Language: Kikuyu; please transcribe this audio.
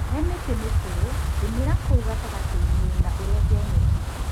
Hemĩtĩ mĩkũrũ rĩmĩra kũu gatagatĩini na urenge nyeki.